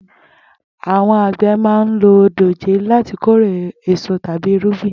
Àwo̩n àgbè̩ máa ń lo dòjé láti kórè è́so tàbí irúgbìn